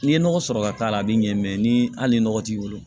N'i ye nɔgɔ sɔrɔ ka k'a la a bɛ ɲɛ mɛ ni hali nɔgɔ t'i bolo